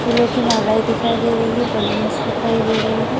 फूलों की मालाएं दिखाई दे रही है बैलून्स दिखाई दे रहे है।